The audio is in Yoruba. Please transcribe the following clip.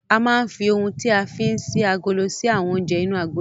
A máa ń fi oun tí a fí ń ṣí agolo ṣí àwọn oúnjẹ inú agolo.